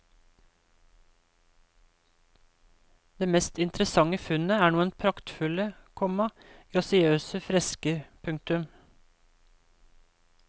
Det mest interessante funnet er noen praktfulle, komma grasiøse fresker. punktum